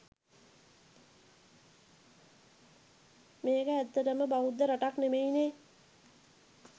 මේක ඇත්තටම බෞද්ධ රටක් නෙමෙයිනේ.